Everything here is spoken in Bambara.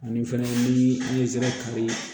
Ani fɛnɛ ni sira kari